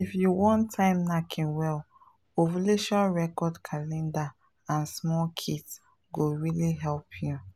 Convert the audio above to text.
if you wan time knacking well ovulation record calendar and small kits go really help you.